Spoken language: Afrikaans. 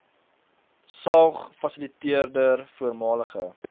saog fasiliteerder voormalige